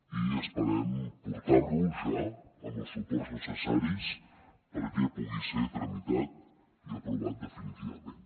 i esperem portar lo ja amb els suports necessaris perquè pugui ser tramitat i aprovat definitivament